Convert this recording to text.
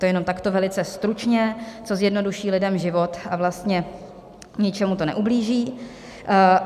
To jenom takto velice stručně, co zjednoduší lidem život a vlastně ničemu to neublíží.